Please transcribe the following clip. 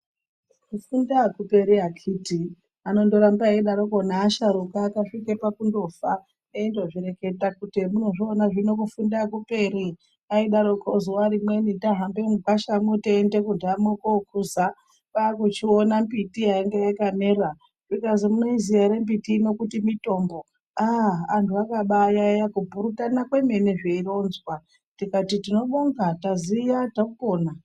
Kufunda akuperi akiti anondoramba eidaroko naasharuka akasvike pakundofa eindozvireketa kuti emunozviona zvino kufunda akuperi aidaroko zuwa rimweni tahambe mugwashamwo teiende kunhamo kokuza kwakuchiona miti yanga yakamera zvikazi munoiziya ere miti ino kuti mitombo aah anhu akabaayaya kupurutana kwemene zveironzwa tikati tinobonga taziya topona.